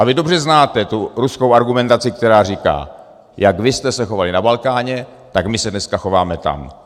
A vy dobře znáte tu ruskou argumentaci, která říká: Jak vy jste se chovali na Balkáně, tak my se dneska chováme tam.